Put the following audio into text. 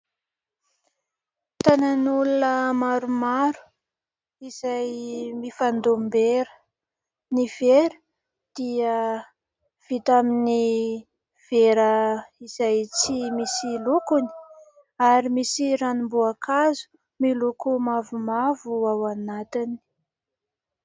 Tanan'olona maromaro izay mifandom-bera. Ny vera dia vita amin'ny vera izay tsy misy lokony ary misy ranom-boankazo miloko mavomavo ao anatiny.